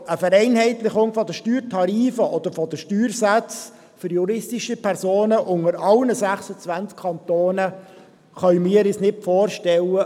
Aber eine Vereinheitlichung der Steuertarife oder der Steuersätze für juristische Personen in allen 26 Kantonen können wir uns nicht vorstellen.